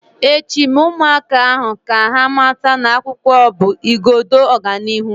Echi, Mee ụmụaka ahu ka ha mata na akwụkwọ bụ igodo ọganihu